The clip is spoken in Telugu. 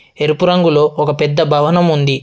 ఎరుపు రంగులో ఒక పెద్ద భవనం ఉంది.